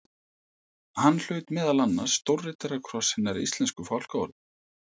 Hann hlaut meðal annars stórriddarakross hinnar íslensku fálkaorðu.